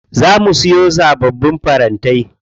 Za mu siyo sababbin farantai.